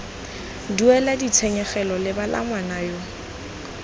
duela ditshenyegelo lebala ngwana yo